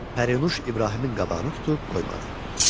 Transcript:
Pərinuş İbrahimin qabağını tutub qoymadı.